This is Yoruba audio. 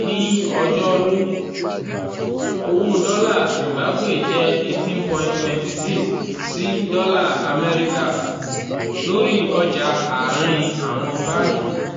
ní ọjọ́rú um owó dọ́là zimbabwe jẹ́ 18.26 sí dọ́là amẹ́ríkà um lórí ọjà àárín àwọn báńkì.